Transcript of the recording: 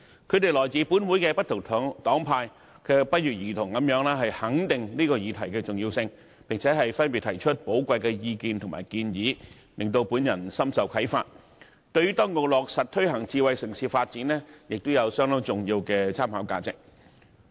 他們來自本會不同黨派，卻不約而同地肯定這項議案的重要性，並且分別提出寶貴意見和建議，讓我深受啟發，對於當局落實推行智慧城市發展亦有相當重要的參考價值。